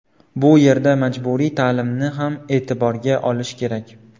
Bu yerda majburiy ta’limni ham e’tiborga olish kerak.